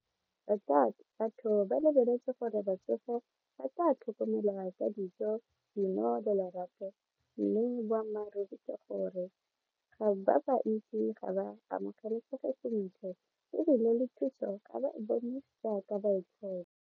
Batho ba lebeletse gore batsofe ba tsa tlhokomelwa ka dijo dino le lerato mme boammaaruri ke gore ba ba ntsi ga ba amogelesega sentle ebile le thuso .